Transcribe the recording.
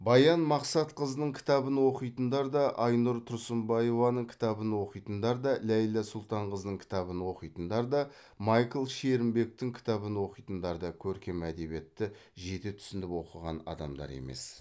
баян мақсатқызының кітабын оқитындар да айнұр тұрсынбаеваның кітабын оқитындар да ләйлә сұлтанқызының кітабын оқитындар да майкл шерімбектің кітабын оқитындар да көркем әдебиетті жете түсініп оқыған адамдар емес